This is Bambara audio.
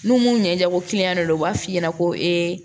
N'u mun ɲɛjɛ ko de don u b'a f'i ɲɛna ko